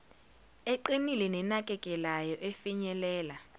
eqinile nenakekelayo efinyelela